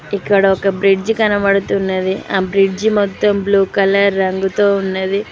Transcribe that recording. ఇక్కడ ఒక బ్రిడ్జ్ కనబడుతున్నది అ బ్రిడ్జ్ మొత్తం బ్లూ కలర్ రంగుతో ఉన్నది.